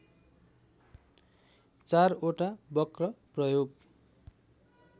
चारवटा वक्र प्रयोग